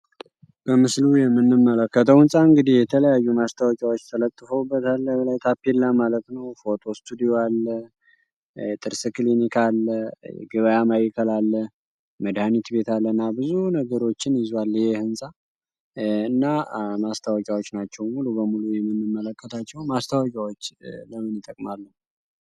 በምስሉ የምንመለከተው ህፃን እንዲህ የተለያዩ ማስታወቂያዎች ተለትፈውበታል። በላዩ ታፔልላ ማለት ነው ፎቶ ስቱዲዮ አለ፣ የጥርስ ክሊኒክ አለ፣ ለገባያ ማይከል አለ፣ መድኒት ቤት አለ እና ብዙ ነገሮችን ይዟል። ይሄ ህንፃ እና ማስታወቂያዎች ናቸውን ሙሉ በሙሉ የምንመለከታቸውን፤ ማስታወቂያዎች ለምን ይጠቅማሉ?